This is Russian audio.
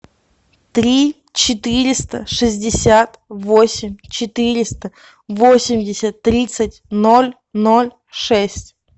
три четыреста шестьдесят восемь четыреста восемьдесят тридцать ноль ноль шесть